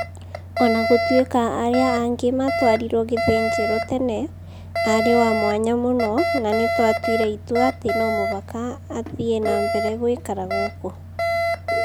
O na gũtuĩka arĩa age matwariro gĩthĩnjrwo tene, aarĩ wa mwanya mũno na nĩ twatuire itua atĩ no mũhaka athiĩ na mbere gũikara gũkũ".